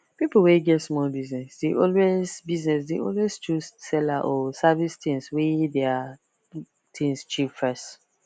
people wey get small business dey always business dey always choose seller or service things wey their things cheap first